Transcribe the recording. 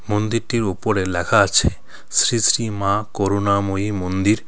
মন্দিরটির উপরে লেখা আছে শ্রী শ্রী মা করুণাময়ী মন্দির.